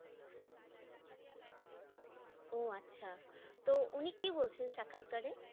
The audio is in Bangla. ওহ, আচ্ছা তো উনি কি বলছেন সাক্ষাৎকারে?